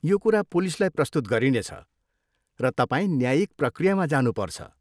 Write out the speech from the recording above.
यो कुरा पुलिसलाई प्रस्तुत गरिनेछ, र तपाईँ न्यायिक प्रक्रियामा जानुपर्छ।